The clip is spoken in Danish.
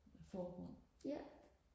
forbund